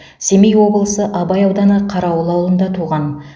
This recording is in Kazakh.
семей облысы абай ауданы қарауыл ауылында туған